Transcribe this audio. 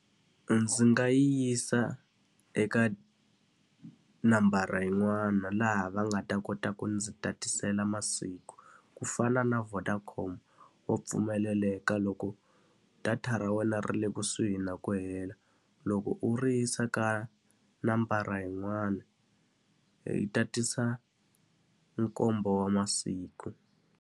Ndzi nga yisa eka nambara yin'wana laha va nga ta kota ku ndzi tatisela masiku. Ku fana na Vodacom, wa pfumeleleka loko ku data ra wena ri le kusuhi na ku hela, loko u ri yisa ka nambara yin'wana yi tatisa nkombo wa masiku.